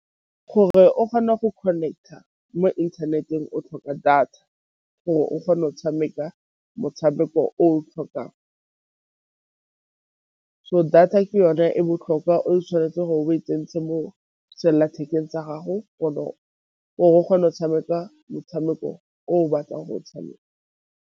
Gore o kgone go connect-a mo inthaneteng o tlhoka data gore o kgone o tshameka motshameko o tlhokang, so data ke yone e botlhokwa o tshwanetse gore o e tsentse mo sellathekeng tsa gago gore o kgone go tshameka motshameko o o batlang go o tshameka.